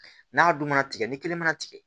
N'a dun mana tigɛ ni kelen mana tigɛ